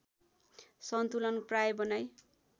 सन्तुलन प्राय बनाई